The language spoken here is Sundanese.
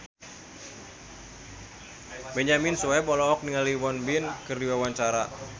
Benyamin Sueb olohok ningali Won Bin keur diwawancara